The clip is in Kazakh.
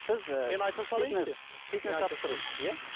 сіз ы мен айта салайыншы фитнес жаттықтырушысыз иә